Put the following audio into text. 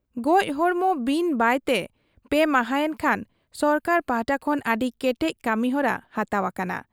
ᱜᱚᱡ ᱦᱚᱲᱢᱚ ᱵᱤᱱ ᱵᱟᱭᱛᱮ ᱯᱮ ᱢᱟᱦᱟᱸᱭᱮᱱ ᱠᱷᱟᱱ ᱥᱚᱨᱠᱟᱨ ᱯᱟᱦᱴᱟ ᱠᱷᱚᱱ ᱟᱹᱰᱤ ᱠᱮᱴᱮᱡ ᱠᱟᱹᱢᱤᱦᱚᱨᱟ ᱦᱟᱛᱟᱣ ᱟᱠᱟᱱᱟ ᱾